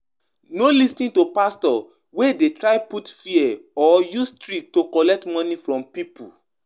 Make sure say you know where di money de go before you give